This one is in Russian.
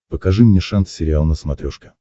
покажи мне шант сериал на смотрешке